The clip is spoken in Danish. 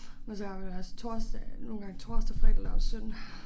Men så arbejder jeg også torsdag nogle gange torsdag fredag lørdag søndag